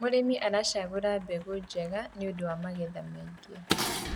mũrĩmi aracagura mbegũ njega nĩũndũ wa magetha maĩngi